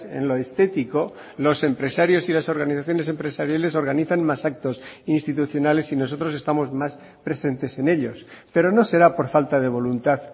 en lo estético los empresarios y las organizaciones empresariales organizan más actos institucionales y nosotros estamos más presentes en ellos pero no será por falta de voluntad